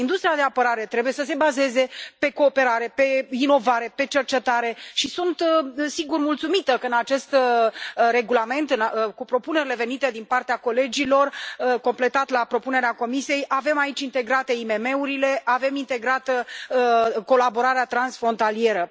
Industria de apărare trebuie să se bazeze pe cooperare, pe inovare, pe cercetare și sunt, sigur, mulțumită că, în acest regulament, cu propunerile venite din partea colegilor, în completare la propunerea Comisiei, avem aici integrate IMM urile, avem integrată colaborarea transfrontalieră.